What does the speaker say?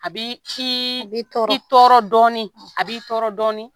A bɛ ci i tɔɔrɔ dɔɔnin a b'i tɔɔrɔ dɔɔnin